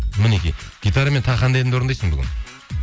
мінекей гитарамен тағы қандай әнді орындайсың бүгін